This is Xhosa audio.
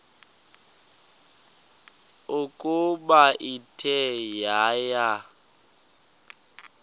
ukuba ithe yaya